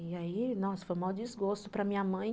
E aí, nossa, foi maior desgosto para minha mãe.